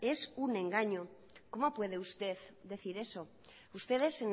es un engaño cómo puede usted decir eso ustedes